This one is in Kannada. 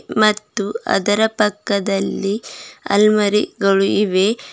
ಮತ್ತು ಅದರ ಪಕ್ಕದಲ್ಲಿ ಅಲ್ಮರಿಗಳು ಇವೆ.